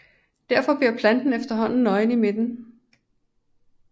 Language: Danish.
Derfor bliver planten efterhånden nøgen i midten